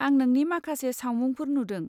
आं नोंनि माखासे सावमुंफोर नुदों।